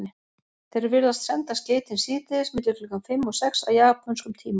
Þeir virðast senda skeytin síðdegis milli klukkan fimm og sex að japönskum tíma.